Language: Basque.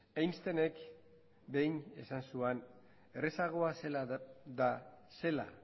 einsteinek behin esan zuan errazagoa zela